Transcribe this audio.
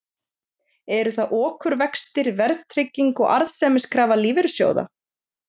Eru það okurvextir, verðtrygging og arðsemiskrafa lífeyrissjóða?